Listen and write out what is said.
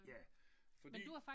Ja fordi